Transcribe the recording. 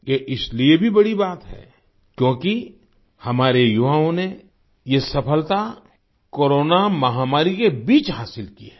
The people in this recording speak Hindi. ये इसलिए भी बड़ी बात है क्योंकि हमारे युवाओं ने ये सफलता कोरोना महामारी के बीच हासिल की है